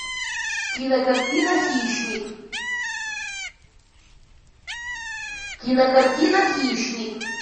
кинокартина хищник кинокартина хищник